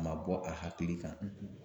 A ma bɔ a hakili kan